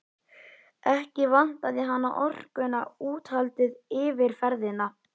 Ekki vantaði hana orkuna, úthaldið, yfirferðina.